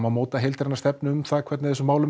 mótuð heildræn stefnu um hvernig þessum málum